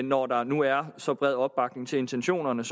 når der nu er så bred opbakning til intentionerne